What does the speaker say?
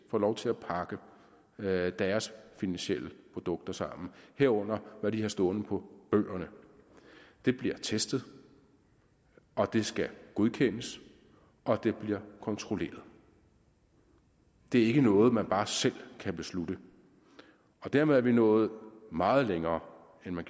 får lov til at pakke deres finansielle produkter sammen herunder hvad de har stående på bøgerne bliver testet og den skal godkendes og den bliver kontrolleret det er ikke noget man bare selv kan beslutte dermed er vi nået meget længere end man